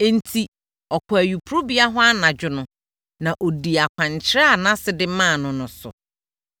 Enti, ɔkɔɔ ayuporobea hɔ anadwo no, na ɔdii akwankyerɛ a nʼase de maa no no so.